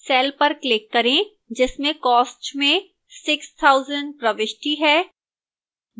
cell पर click करें जिसमें cost में 6000 प्रविष्टि है